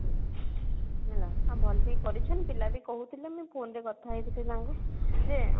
ହଁ ଭଲ ବି କରିଛେନ ପିଲା ବି କହୁଥିଲେ ମୁଁଇ phone ରେ କଥା ହେଇଥିଲେ ତାଙ୍କୁ